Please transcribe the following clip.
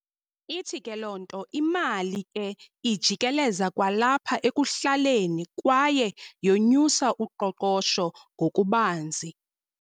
Ithi ke loo nto imali ke ijikeleza kwalapha ekuhlaleni kwaye 'yonyusa' uqoqosho ngokubanzi.